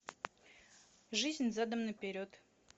жизнь задом наперед